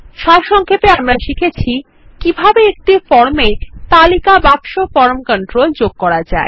সারসংক্ষেপে আমরা শিখেছি কিভাবে একটি ফর্ম এ একটি তালিকা বাক্স কন্ট্রোল যোগ করা যায়